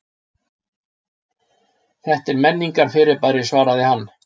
Þetta er menningarfyrirbæri svarar hann.